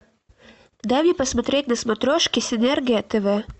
дай мне посмотреть на смотрешке синергия тв